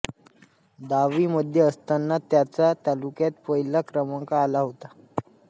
दहावी मध्ये असताना त्यांचा तालुक्यात पहिला क्रमांक आला होता